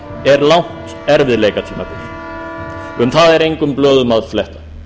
er langt erfiðleikatímabil um það er engum blöðum að fletta